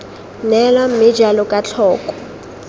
neelwa mme jalo jaaka tlhoko